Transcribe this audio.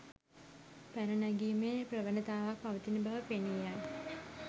පැන නැගීමේ ප්‍රවණතාවක් පවතින බව පෙනී යයි.